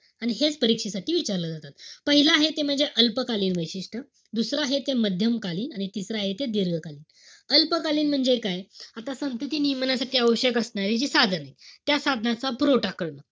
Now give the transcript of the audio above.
आणि हेच परीक्षेसाठी विचारलं जातात. पाहिलं आहे ते म्हणजे अल्पकालीन वैशिष्ट्य. दुसरं आहे ते मध्यमकालीन. आणि तिसरं आहे ते दीर्घकालीन. अल्पकालीन म्हणजे काय? आता संतती नियमासाठी आवश्यक असणारी जी साधन ए. त्या साधनांचा पुरवठा करणं.